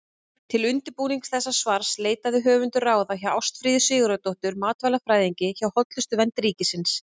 Til undirbúnings þessa svars leitaði höfundur ráða hjá Ástfríði Sigurðardóttur matvælafræðingi hjá Hollustuvernd ríkisins.